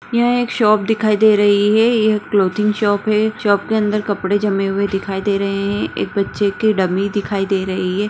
यह एक शॉप दिखाई दे रही है यह क्लोथिंग शॉप है शॉप के अंदर कपड़े जमे हुए दिखाई दे रहे है एक बच्चे की डमी दिखाई दे रही है।